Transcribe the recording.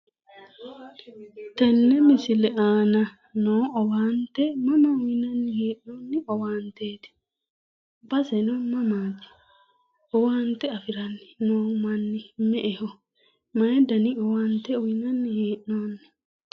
Tenne misile aana noo owaante mama uyinanni hee'noonni owaanteeti? Baseno mamaati? Owaante afiranni noo manni me"eho? Mayi dani owaante uyinanni hee'noonni?